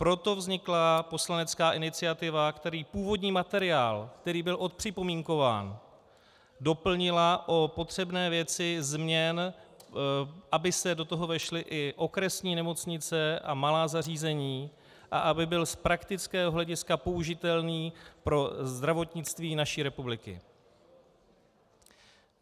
Proto vznikla poslanecká iniciativa, která původní materiál, který byl odpřipomínkován, doplnila o potřebné věci změn, aby se do toho vešly i okresní nemocnice a malá zařízení a aby byl z praktického hlediska použitelný pro zdravotnictví naší republiky.